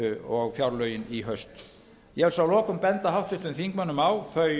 og fjárlögin i haust ég vil svo að lokum benda háttvirtum þingmönnum á